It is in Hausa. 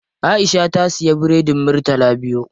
Aisha ta siya biredin murtala biyu.